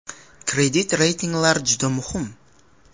Kredit reytinglar ham juda muhim.